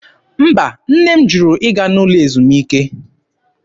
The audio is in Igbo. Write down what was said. Mba, nne m jụrụ ịga n'ụlọ ezumike.